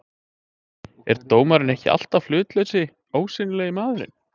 er dómarinn ekki alltaf hlutlausi, ósýnilegi maðurinn?